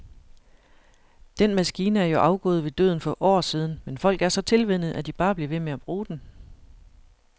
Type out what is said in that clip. Den maskine er jo afgået ved døden for år siden, men folk er så tilvænnet, at de bare bliver ved med at bruge den.